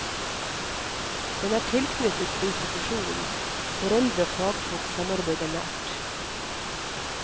Den er tilknyttet institusjonen, foreldre og fagfolk samarbeider nært.